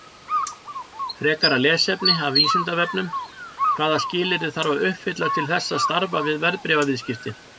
Frekara lesefni af Vísindavefnum: Hvaða skilyrði þarf að uppfylla til þess að starfa við verðbréfaviðskipti?